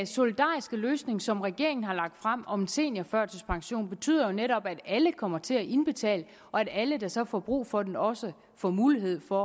solidariske løsning som regeringen har lagt frem om en seniorførtidspension betyder jo netop at alle kommer til at indbetale og at alle der så får brug for den også får mulighed for